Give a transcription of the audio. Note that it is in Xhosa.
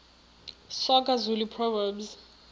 soga zulu proverbs